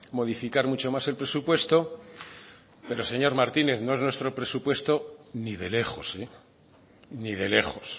modificar mucho más el presupuesto pero señor martínez no es nuestro presupuesto ni de lejos ni de lejos